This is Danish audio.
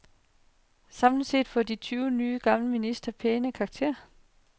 Samlet set får de tyve nye og gamle ministre pæne karakterer.